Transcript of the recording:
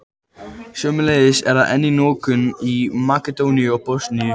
Sömuleiðis er það enn í notkun í Makedóníu og Bosníu.